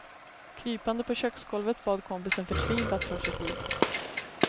Krypande på köksgolvet bad kompisen förtvivlat för sitt liv.